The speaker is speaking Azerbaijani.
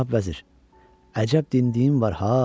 Cənab vəzir, əcəb dindiyim var ha!